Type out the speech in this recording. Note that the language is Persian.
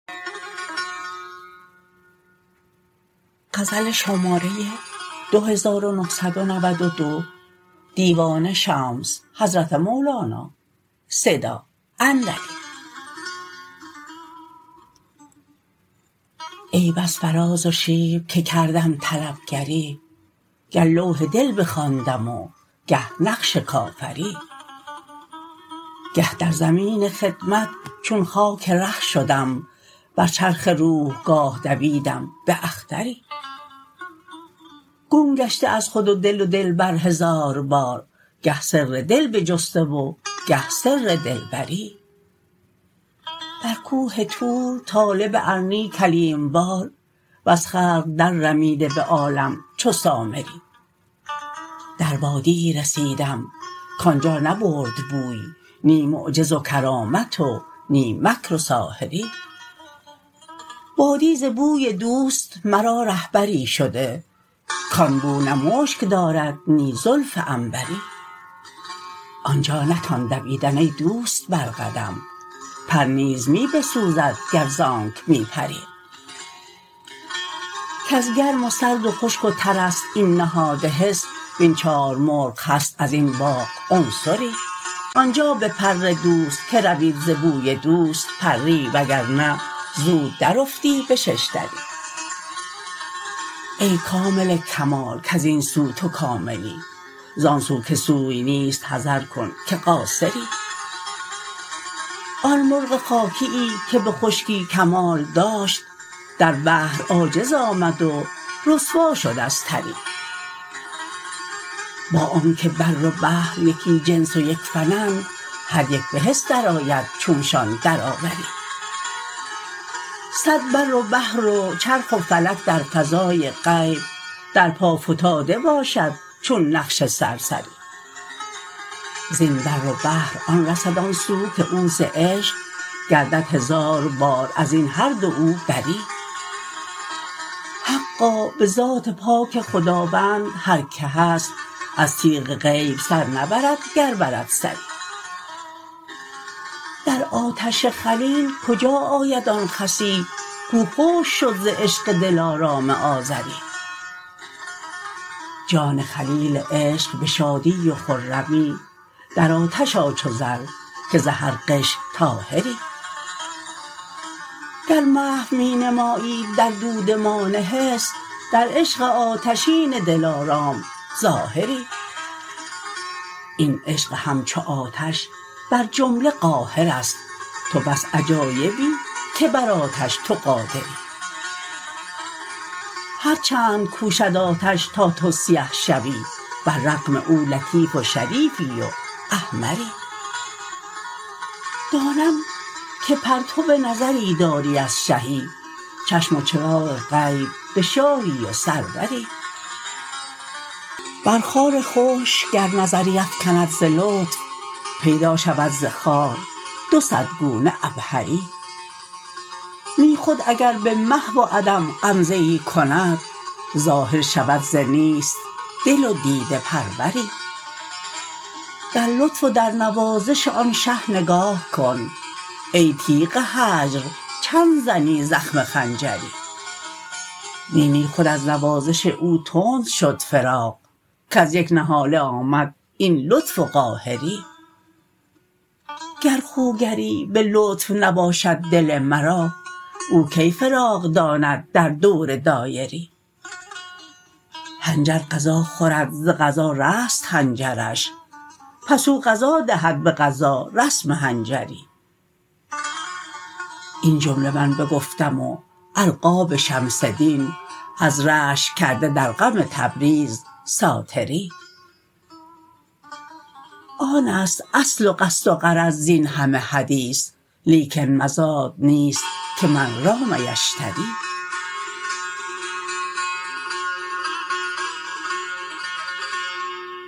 ای بس فراز و شیب که کردم طلب گری گه لوح دل بخواندم و گه نقش کافری گه در زمین خدمت چون خاک ره شدم بر چرخ روح گاه دویدم باختری گم گشته از خود و دل و دلبر هزار بار گه سر دل بجسته و گه سر دلبری بر کوه طور طالب ارنی کلیم وار وز خلق دررمیده به عالم چو سامری در وادیی رسیدم کان جا نبرد بوی نی معجز و کرامت و نی مکر و ساحری وادی ز بوی دوست مرا رهبری شده کان بو نه مشک دارد نی زلف عنبری آن جا نتان دویدن ای دوست بر قدم پر نیز می بسوزد گر ز آنک می پری کز گرم و سرد و خشک و تر است این نهاد حس وین چار مرغ هست از این باغ عنصری آن جا بپر دوست که روید ز بوی دوست پری و گر نه زرد درافتی به شش دری ای کامل کمال کز این سو تو کاملی زان سو که سوی نیست حذر کن که قاصری آن مرغ خاکیی که به خشکی کمال داشت در بحر عاجز آمد و رسوا شد از تری با آنک بر و بحر یکی جنس و یک فنند هر یک به حس درآید چونشان درآوری صد بر و بحر و چرخ و فلک در فضای غیب در پا فتاده باشد چون نقش سرسری زین بر و بحر آن رسد آن سو که او ز عشق گردد هزار بار از این هر دو او بری حقا به ذات پاک خداوند هر کی هست از تیغ غیب سر نبرد گر برد سری در آتش خلیل کجا آید آن خسی کو خشک شد ز عشق دلارام آزری جان خلیل عشق به شادی و خرمی در آتش آ چو زر که ز هر غش طاهری گر محو می نمایی در دودمان حس در عشق آتشین دلارام ظاهری این عشق همچو آتش بر جمله قاهر است تو بس عجایبی که بر آتش تو قادری هر چند کوشد آتش تا تو سیه شوی بر رغم او لطیف و شریفی و احمری دانم که پرتو نظری داری از شهی چشم و چراغ غیب به شاهی و سروری بر خار خشک گر نظری افکند ز لطف پیدا شود ز خار دو صد گونه عبهری نی خود اگر به محو و عدم غمزه ای کند ظاهر شود ز نیست دل و دیده پروری در لطف و در نوازش آن شه نگاه کن ای تیغ هجر چند زنی زخم خنجری نی نی خود از نوازش او تند شد فراق کز یک نهاله آمد این لطف و قاهری گر خوگری به لطف نباشد دل مرا او کی فراق داند در دور دایری حنجر غذا خورد ز غذا رست حنجرش پس او غذا دهد به غذا رسم حنجری این جمله من بگفتم و القاب شمس دین از رشک کرده در غم تبریز ساتری آن است اصل و قصد و غرض زین همه حدیث لیکن مزاد نیست که من رام یشتری